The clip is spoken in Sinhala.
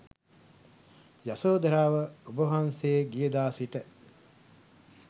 යශෝධරාව ඔබවහන්සේ ගියදා සිට